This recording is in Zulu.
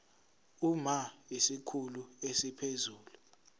uma isikhulu esiphezulu